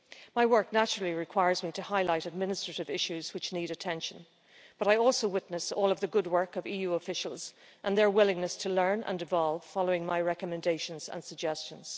My work naturally requires me to highlight administrative issues which need attention, but I also witness all of the good work of EU officials and their willingness to learn and evolve following my recommendations and suggestions.